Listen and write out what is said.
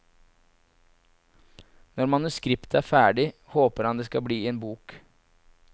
Når manuskriptet er ferdig, håper han det skal bli en bok.